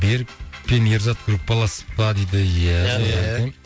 берік пен ерзат группалас па дейді иә иә